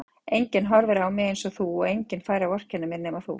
Enginn horfir yfir mig einsog þú og enginn fær að vorkenna mér nema þú.